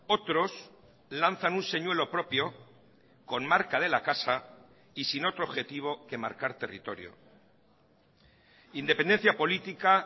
otros lanzan un señuelo propio con marca de la casa y sin otro objetivo que marcar territorio independencia política